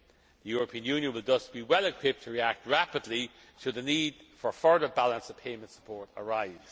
The European Union will thus be well equipped to react rapidly should the need for further balance of payments support arise.